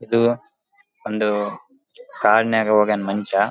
ಇದು ಒಂದು ತಾಳ್ಮೆ ಮಂಚ--